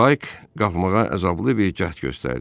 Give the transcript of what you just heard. Payk qalxmağa əzablı bir cəhd göstərdi.